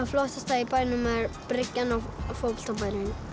flottasta í bænum er bryggjan og fótboltabærinn